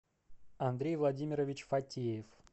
андрей владимирович фатеев